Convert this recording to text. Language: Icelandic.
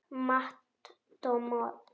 Matt Damon.